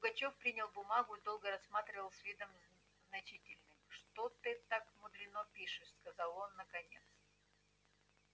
пугачёв принял бумагу и долго рассматривал с видом значительным что ты так мудрено пишешь сказал он наконец